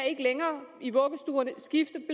ikke længere i vuggestuerne kan skifte